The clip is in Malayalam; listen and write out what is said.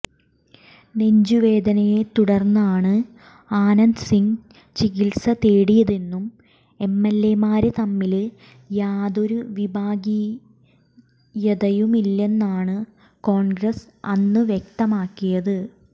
നെഞ്ചുവേദനയെത്തുടര്ന്നാണ് ആനന്ദ് സിംഗ് ചികിത്സ തേടിയതെന്നും എം എല് എമാര് തമ്മില് യാതൊരു വിഭാഗീയതയുമില്ലെന്നാണ് കോണ്ഗ്രസ് അന്ന് വ്യക്തമാക്കിയത്